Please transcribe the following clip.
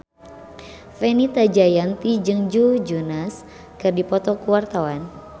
Fenita Jayanti jeung Joe Jonas keur dipoto ku wartawan